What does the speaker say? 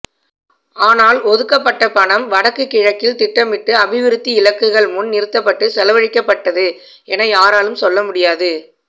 ஆனால் ஒதுக்கப்பட்ட பணம் வடக்கு கிழக்கில் திட்டமிட்டு அபிவிருத்தி இலக்குகள் முன் நிறுத்தப்பட்டு செலவழிக்கப்பட்டது என யாராலும் சொல்ல முடியாது